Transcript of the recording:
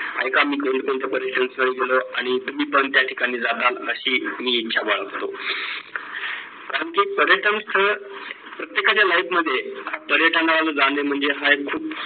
ऐका मी कोणकोणत्या पर्यटन स्थळी गेलो आणि तुम्ही पण त्या ठिकाणी जाताल अशी मी इच्छा बाळगतो. कारण की पर्यटन स्थळ प्रत्येकाच्या life मध्ये पर्यटनाला जाणे म्हणजे हा एक खूप